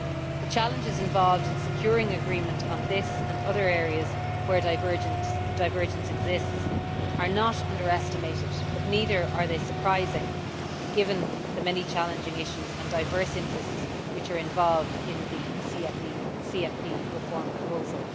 The challenges involved in securing agreement on this and other areas where divergence exists are not underestimated, but neither are they surprising given the many challenging issues and diverse interests which are involved in the CFP reform proposal.